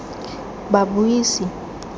babuisi